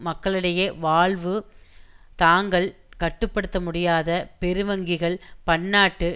மக்களிடையே வாழ்வு தாங்கள் கட்டுப்படுத்தமுடியாத பெருவங்கிகள் பன்னாட்டு